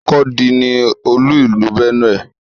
Makurdi ni olú ìlú Benue.